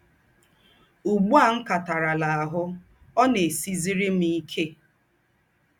Ùgbù à m̀ kátàràlà áhụ̀, ọ̀ ná-èsìzìrì m íkè.